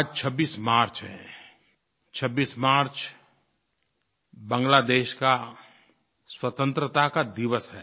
आज 26 मार्च है 26 मार्च बांग्लादेश का स्वतंत्रता का दिवस है